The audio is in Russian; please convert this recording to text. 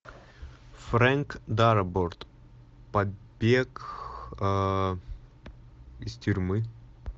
фрэнк дарабонт побег из тюрьмы